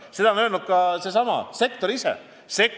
Seda on öelnud ka sektori esindajad.